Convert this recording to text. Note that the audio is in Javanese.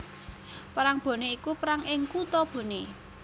Perang Boné iku perang ing kutha Boné